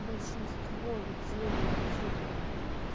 большинство людей инфицированных